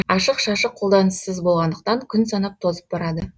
ашық шашық қолданыссыз болғандықтан күн санап тозып барады